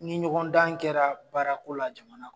Ni ɲɔgɔn dan kɛra baara ko la jamana kɔnɔ